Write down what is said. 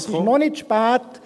Es ist noch nicht zu spät.